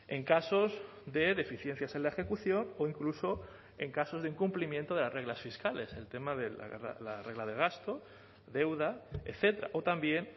en casos de deficiencias en la ejecución o incluso en casos de incumplimiento de las reglas fiscales el tema de la regla de gasto deuda etcétera o también